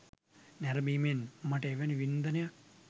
නැරඹීමෙන් මට එවැනි වින්දනයක්